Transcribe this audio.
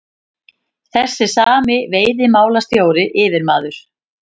Þessi sami veiðimálastjóri, yfirmaður